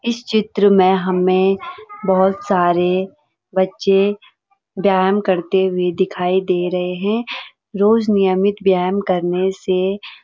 इस चित्र में हमें बहुत सारे बच्चे व्यायाम करते हुए दिखाई दे रहे हैं रोज़ नियमित व्यायाम करने से --